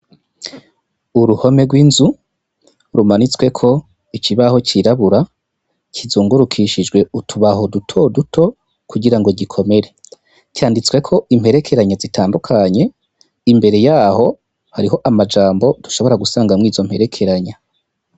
Uruhome rw'inzu, rumanitsweko ikibaho cirabura kizungurukishijwe utubaho dutoduto kugira ngo gikomere. Canditsweko imperekeranya zitandukanye, imbere yaho, hariho amajambo dushobora gusangamwo izo mperekeranya.